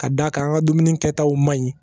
Ka d'a kan an ka dumuni kɛtaw ma ɲi